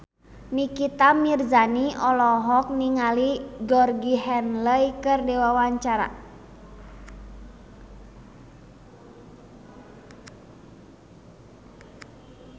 Nikita Mirzani olohok ningali Georgie Henley keur diwawancara